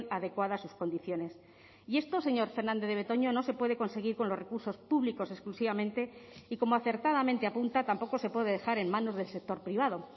adecuada a sus condiciones y esto señor fernandez de betoño no se puede conseguir con los recursos públicos exclusivamente y como acertadamente apunta tampoco se puede dejar en manos del sector privado